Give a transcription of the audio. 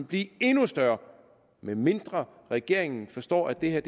blive endnu større medmindre regeringen forstår at det her